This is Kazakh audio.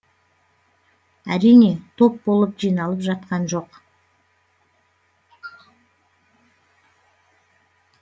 әрине топ болып жиналып жатқан жоқ